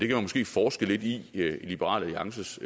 måske forske lidt i i liberal alliances